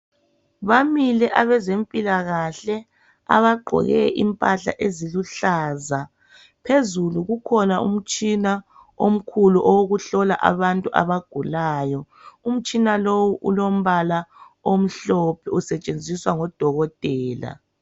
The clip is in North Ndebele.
Bamile abazempilakahle abagqoke impahla eziluhlaza phezulu kukhona umtshina omkhulu wokuhlola abantu abagulayo umtshina lowu ilombala omhlophe osentshenziswa ngodokotela .